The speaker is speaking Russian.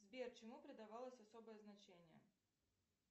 сбер чему придавалось особое значение